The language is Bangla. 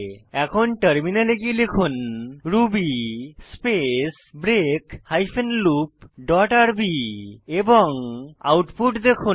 এখন টার্মিনালে গিয়ে লিখুন ruby space break hyphen loop dot R B output দেখুন